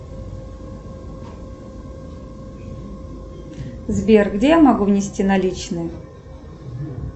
сбер где я могу внести наличные